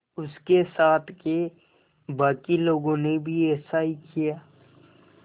उसके साथ के बाकी लोगों ने भी ऐसा ही किया